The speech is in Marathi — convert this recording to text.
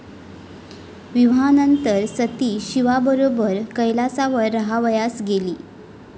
विवाहानंतर सती शिवाबरोबर कैलासावर राहावयास गेली.